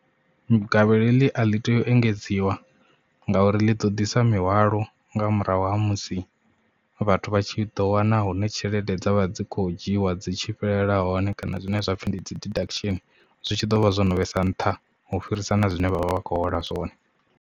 Gavhelo heḽi a ḽi tei u engedziwa ngauri ḽi ḓo ḓisa mihwalo nga murahu ha musi vhathu vha tshi ḓo wana hune tshelede dzavha dzi kho dzhiwa dzi tshi fhelela hone kana zwine zwapfhi ndi dzi deduction zwi tshi ḓo vha zwo no vhesa nṱha u fhirisa na zwine vha vha vha vha khou hola zwone.